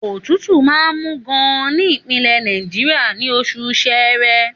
Òtútù máa ń mú gan-an ní Ìpínlẹ̀ Náìjà, ní oṣù Ṣẹẹrẹ.